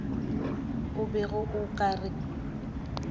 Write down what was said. o bego o ka re